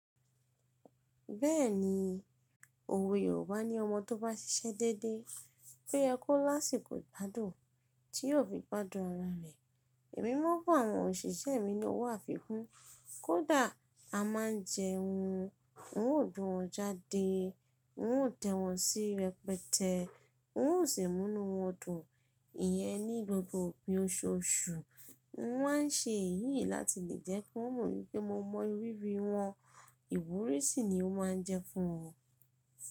Bẹ́ẹ̀ni, òwe Yorùbá ní ọmọ tó bá ṣiṣẹ́ dédé, ó yẹ kó lásìkò ìgbádùn tí yóò fi gbádùn ara rẹ̀. Ẹ̀mi mọ̀ fún àwọn òṣìṣẹ́ mi ní owó àfikún, kó dàá a máa jẹun. N óò dun ọjà dé, n óò tẹ́ wọn sí rẹpẹtẹ, n óò sì múnu wọn dùn. Ìyẹn ni gbogbo òpin oṣoṣù. N ó máa ń ṣe èyí láti lè jẹ́ kí wọ́n mọ̀ pé mo mọ ìrírí wọn. Ìwúrí sì ni ó máa ń jẹ́ fún wọn.